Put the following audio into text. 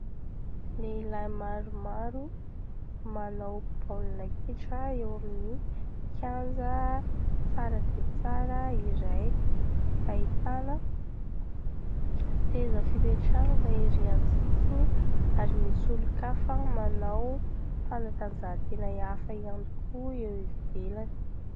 Lehilahy maromaro manao baolina kitra eo amin'ny kianja tsara dia tsara iray, ahitana seza fipetrahana ery amin'ny sisiny ary misy olon-kafa manao fanatanjahan-tena hafa ihany koa eo ivelany.